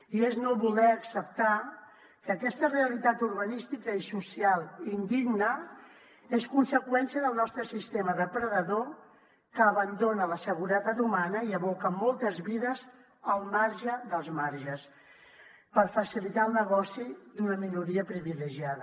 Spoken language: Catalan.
i és no voler acceptar que aquesta realitat urbanística i social indigna és conseqüència del nostre sistema depredador que abandona la seguretat humana i aboca moltes vides al marge dels marges per facilitar el negoci d’una minoria privilegiada